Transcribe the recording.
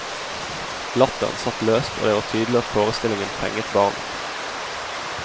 Latteren satt løst, og det var tydelig at forestillingen fenget barna.